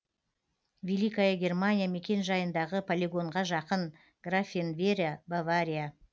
великая германия мекенжайындағы полигонға жақын графенвера бавария